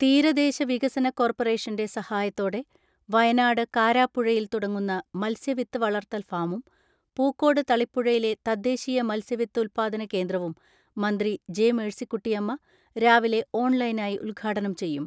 തീരദേശ വികസന കോർപ്പറേഷന്റെ സഹായത്തോടെ വയനാട് കാരാപ്പുഴയിൽ തുടങ്ങുന്ന മത്സ്യവിത്ത് വളർത്തൽ ഫാമും, പൂക്കോട് തളിപ്പുഴയിലെ തദ്ദേശീയ മത്സ്യവിത്ത് ഉല്പാദന കേന്ദ്രവും മന്ത്രി ജെ.മേഴ്സിക്കുട്ടിയമ്മ രാവിലെ ഓൺലൈനായി ഉദ്ഘാടനം ചെയ്യും.